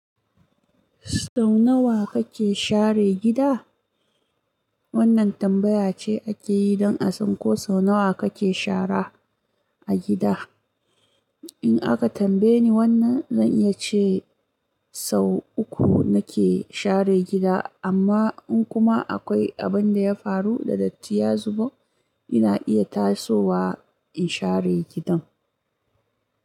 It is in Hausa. Sau nawa kake share gida? Wannan tambaya ce ake yi don a san ko sau nawa kake shara a gida. In aka tambaye ni wannan, zan iya ce sau uku nake share gida, amma in kuma akwai abin da ya faru da datti ya zubo, ina iya tasowa in share gidan.